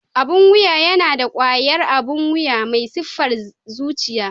Abun wuya yana da ƙwayar abun wuya mai sifar zuciya.